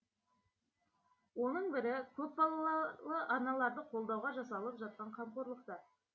оның бірі көп балалы аналарды қолдауға жасалып жатқан қамқорлықтар